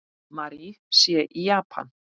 Mary sé í Japan.